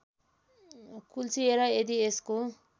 कुल्चिएर यदि यसको